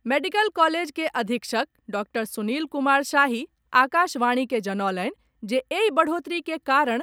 medical college के अधीक्षक doctor Sunil Kumar Shahi Akashvani के जनौलनि जे एहि बढ़ोतरी के कारण